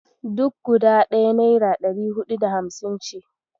Duk guda ɗaya naira ɗari huɗu da hamsin ce.